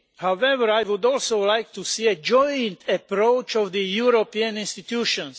however I would also like to see a joint approach of the European Institutions.